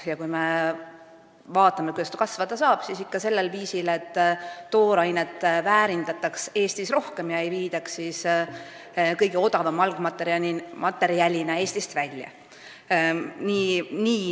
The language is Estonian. Ja kui me mõtleme, kuidas ta kasvada saab, siis ikka sellisel viisil, et toorainet väärindataks Eestis rohkem ega viidaks kõige odavama algmaterjalina Eestist välja.